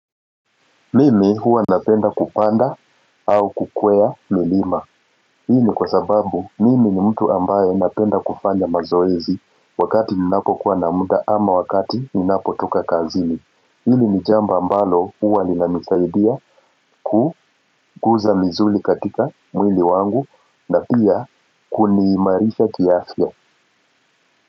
Mimi huwa napenda kupanda au kukwea milima. Hii kwa sababu mimi ni mtu ambaye napenda kufanya mazoezi wakati ninapo kuwa na muda ama wakati ninapo toka kazini. Hili ni jambo mbalo huwa linanisaidia kuu guza misuri katika mwili wangu na pia kunimarisha kiafya.